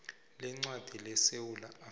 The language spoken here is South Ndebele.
leencwadi lesewula afrika